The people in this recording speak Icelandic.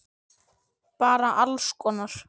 Bara alls konar.